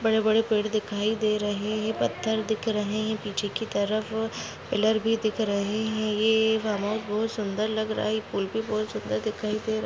बड़े बड़े पेड़ दिखाई दे रहे है। पत्थर दिख रहे है। पीछे की तरफ पिलर भी दिख रहे है। ये बहुत सुंदर लग रहा है। पूल भी बहुत सुंदर दिखाई दे रहा है।